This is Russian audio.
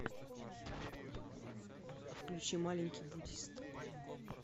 включи маленький буддист